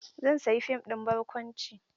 Zan sayi fim ɗin barkwanci.